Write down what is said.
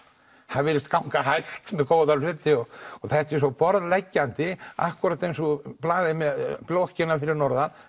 það virðist ganga hægt með góða hluti og þetta er svo borðleggjandi akkúrat eins og með blokkina fyrir norðan